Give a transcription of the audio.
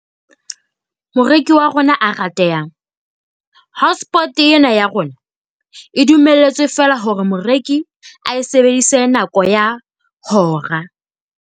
Moreki wa rona a ratehang. Hotspot ena ya rona e dumelletswe feela hore moreki ae sebedise nako ya hora.